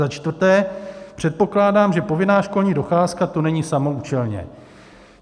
Za čtvrté předpokládám, že povinná školní docházka tu není samoúčelně.